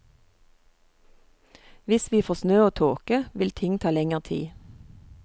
Hvis vi får snø og tåke, vil ting ta lenger tid.